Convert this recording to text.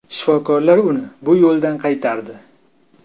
Shifokorlar uni bu yo‘ldan qaytardi.